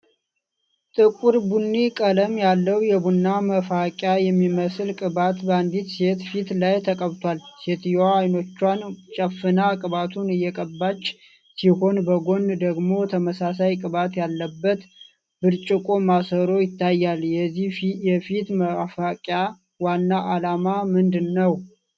ጥቁር ቡኒ ቀለም ያለው የቡና መፋቂያ የሚመስል ቅባት በአንዲት ሴት ፊት ላይ ተቀብቷል። ሴትየዋ አይኖቿን ጨፍና ቅባቱን እየቀባች ሲሆን፣ በጎን ደግሞ ተመሳሳይ ቅባት ያለበት ብርጭቆ ማሰሮ ይታያል። የዚህ የፊት መፋቂያ ዋና ዓላማ ምንድን ነው?